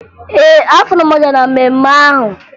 Ee, afụrụ m ọja na mmemme ahụ